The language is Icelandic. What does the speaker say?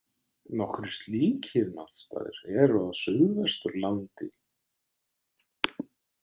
Nokkrir slíkir náttstaðir eru á Suðvesturlandi.